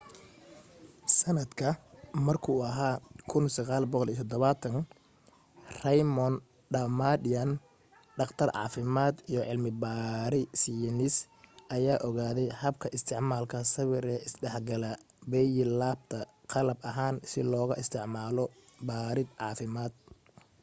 sanadka markuu ahaa 1970 raymond damadian dhaqtar caafimad iyo cilmi baare seynis ayaa ogaade habka isticmaalka sawir ee isdhexgalka bie-labta qalab ahaan si loogu isticmaalo baarid caafimaad